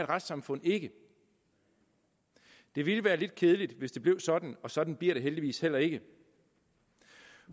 retssamfund ikke det ville være lidt kedeligt hvis det blev sådan og sådan bliver det heldigvis heller ikke